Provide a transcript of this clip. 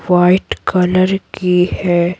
White colour की है।